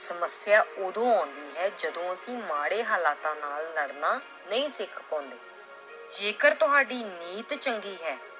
ਸਮੱਸਿਆ ਉਦੋਂ ਆਉਂਦੀ ਹੈ ਜਦੋਂ ਅਸੀਂ ਮਾੜੇ ਹਾਲਾਤਾਂ ਨਾਲ ਲੜਨਾ ਨਹੀਂ ਸਿੱਖ ਪਾਉਂਦੇ l ਜੇਕਰ ਤੁਹਾਡੀ ਨੀਤ ਚੰਗੀ ਹੈ